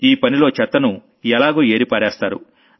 ఈ పనిలో చెత్తను ఎలాగూ ఏరి పారేస్తారు